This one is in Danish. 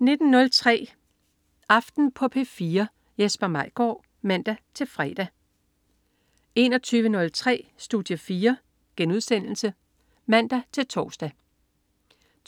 19.03 Aften på P4. Jesper Maigaard (man-fre) 21.03 Studie 4* (man-tors)